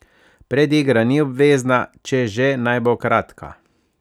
Predigra ni obvezna, če že, naj bo kratka.